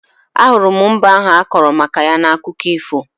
Ahụrụ m mbe ahụ akọrọ maka ya n'akụkọ ifo